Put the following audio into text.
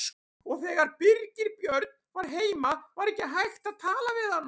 Og þegar Birgir Björn var heima var ekki hægt að tala við hana.